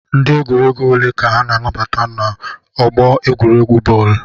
Ndị egwuregwu ole ka a na-anabata n'ọgbọ egwuregwu bọọlụ?